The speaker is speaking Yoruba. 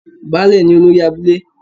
Baálẹ̀ ni olórí abúlé